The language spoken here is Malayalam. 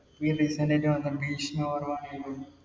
ഭീഷ്മപർവ്വം